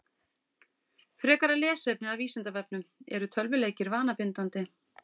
Frekara lesefni af Vísindavefnum: Eru tölvuleikir vanabindandi?